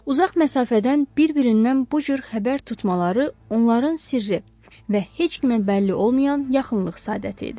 Uzaq məsafədən bir-birindən bu cür xəbər tutmaları onların sirri və heç kimə bəlli olmayan yaxınlıq sadəti idi.